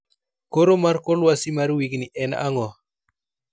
koro mar kor lwasi mar wigni en ang'o